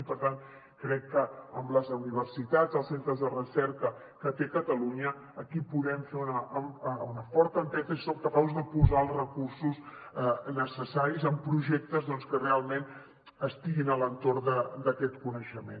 i per tant crec que amb les universitats els centres de recerca que té catalunya aquí podem fer una forta empenta si som capaços de posar els recursos necessaris en projectes doncs que realment estiguin a l’entorn d’aquest coneixement